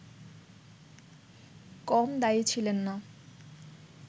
কম দায়ী ছিলেন না